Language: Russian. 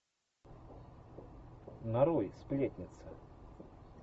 нарой сплетница